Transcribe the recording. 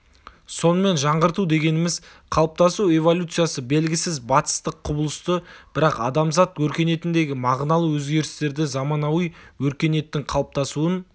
сонымен жаңғырту дегеніміз қалыптасу эволюциясы белгісіз батыстық құбылысты бірақ адамзат өркениетіндегі мағыналы өзгерістерді заманауи өркениеттің қалыптасуын